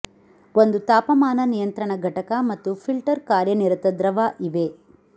ಒಂದು ತಾಪಮಾನ ನಿಯಂತ್ರಣ ಘಟಕ ಮತ್ತು ಫಿಲ್ಟರ್ ಕಾರ್ಯನಿರತ ದ್ರವ ಇವೆ